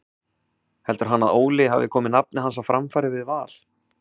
Heldur hann að Óli hafi komið nafni hans á framfæri við Val?